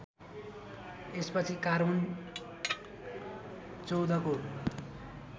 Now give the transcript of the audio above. यसपछि कार्बन १४ को